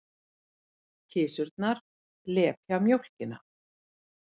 Kisurnar lepja mjólkina.